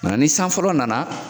ni san fɔlɔ na na.